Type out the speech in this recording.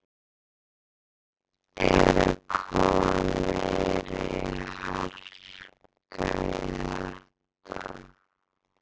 Er að koma meiri harka í þetta?